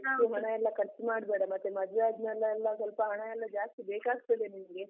ಹೆಚ್ಚು ಹಣ ಎಲ್ಲ ಖರ್ಚು ಮಾಡ್ಬೇಡ, ಮತ್ತೆ ಮದ್ವೆ ಆದ್ಮೇಲೆ ಎಲ್ಲ ಸ್ವಲ್ಪ ಹಣ ಎಲ್ಲ ಜಾಸ್ತಿ ಬೇಕಾಗ್ತದೆ ನಿನ್ಗೆ.